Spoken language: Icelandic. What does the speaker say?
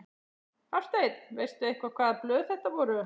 Hafsteinn: Veistu eitthvað hvaða blöð þetta voru?